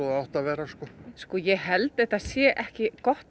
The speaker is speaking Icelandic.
átti að vera sko ég held að þetta sé ekki gott